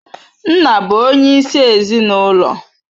Nna bụ onyeisi ezinụlọ.